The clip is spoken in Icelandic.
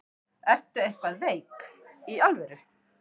Ertu eitthvað veik. í alvöru?